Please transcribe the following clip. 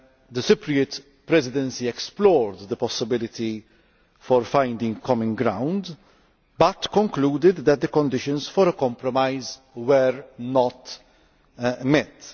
The Cypriot Presidency explored the possibility of finding common ground but concluded that the conditions for a compromise were not met.